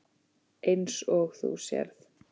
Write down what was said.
Eins og þú sérð.